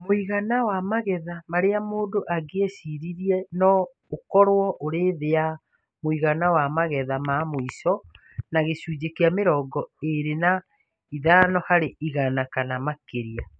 Mũigana wa magetha marĩa mũndũ angĩaciarire no ũkorũo ũrĩ thĩ ya mũigana wa magetha ma mũico na gĩcunjĩ kĩa mĩrongo ĩrĩ na ĩtano harĩ igana kana makĩria